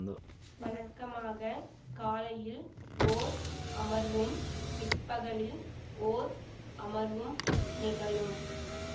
வழக்கமாக காலையில் ஓர் அமர்வும் பிற்பகலில் ஓர் அமர்வும் நிகழும்